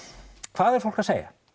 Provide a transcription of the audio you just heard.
hvað er fólk að segja